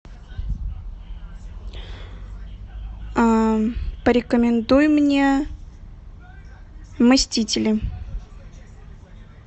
порекомендуй мне мстители